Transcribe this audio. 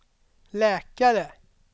läkare